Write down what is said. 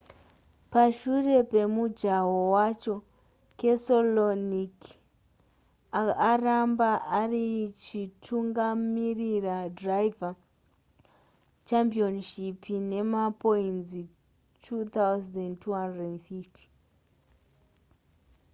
pashure pemujaho wacho keselowki aramba arichitungamirira driver' championship nemapoinzi 2 250